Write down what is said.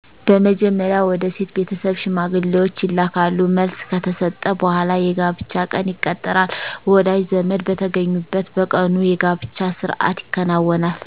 በመጀመርያ ወደ ሴት ቤተሠብ ሽማግሌዎች ይላካሉ መልሥ ከተሠጠ በሗላ የጋብቻ ቀን ይቀጠራል ወዳጅ ዘመድ በተገኙበት በቀኑ የጋብቻ ሥርአት ይከናወናል